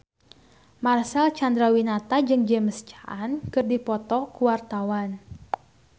Marcel Chandrawinata jeung James Caan keur dipoto ku wartawan